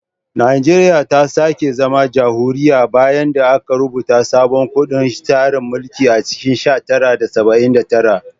Najeriya ta sake zama jamhuriya bayan da aka rubuta sabon kundin tsarin mulki a cikin sha tara saba'in da tara